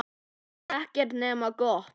Ekkert nema gott.